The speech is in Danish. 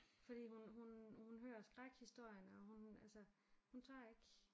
Fordi hun hun hun hører skrækhistorierne og hun altså hun tør ikke